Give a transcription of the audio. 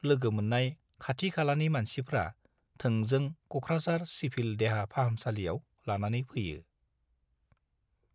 लोगो मोन्नाय खाथि-खालानि मानसिफ्रा थोंजों क'कराझार चिभिल देहा फाहामसालियाव लानानै फैयो।